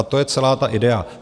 A to je celá ta idea.